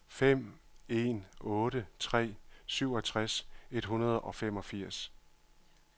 fem en otte tre syvogtres et hundrede og femogfirs